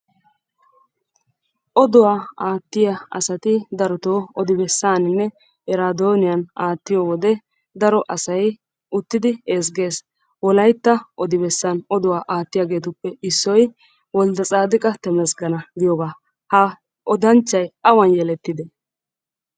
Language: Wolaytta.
Oduwa aattiya asati daroto odibessaaninne iraaddoniyan aattiyo wode daro asay uttidi ezgges. Wolayitta odibessan oduwa aattiyageetuppe issoy woldetsadiqa temesgena giyogaa. Ha odanchchay awan yelettide?